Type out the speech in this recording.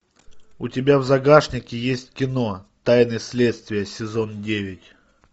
у тебя в загашнике есть кино тайны следствия сезон девять